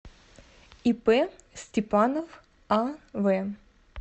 ип степанов ав